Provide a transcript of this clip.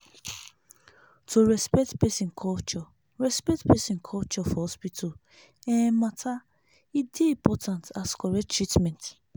to respect person culture respect person culture for hospital um matter e dey important as correct treatment